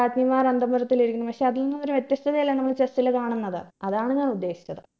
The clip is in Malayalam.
രാജ്ഞിമാർ അന്തപുരത്തിലിരിക്കുന്നു പക്ഷെ അതിൽ നിന്ന് ഒരു വ്യത്യസ്ഥതയല്ലേ നമ്മള് chess ൽ കാണുന്നത്